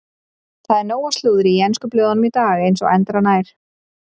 Það er nóg af slúðri í ensku blöðunum í dag eins og endranær.